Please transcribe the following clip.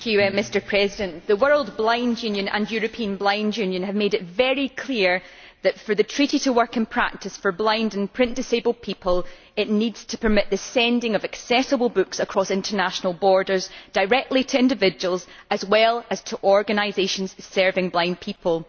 Mr President, the World Blind Union and the European Blind Union have made it very clear that for the treaty to work in practice for blind and print disabled people, it needs to permit the sending of accessible books across international borders directly to individuals, as well as to organisations serving blind people.